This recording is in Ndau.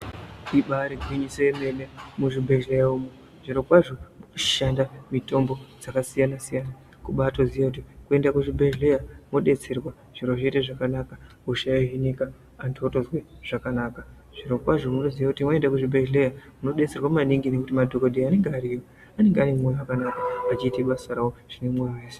Ibari gwinyiso yemene muzvibhedhlera umu zvirokwazvo murikushanda mitombo dzaakasiyana siyana kubatoziye kuti kuende kuzvibhedhlera mwodetserwa zviro zvoita zvakanaka hosha yohinika antu otozwe zvakanaka, zvirokwazvo unotoziye kuti waende kuzvibhedhlera unodetserwa maningi ngekuti madhokodheya anenge ariyo anenge ane moyo wakanaka achiite basa rawo zvinemwoyo wese.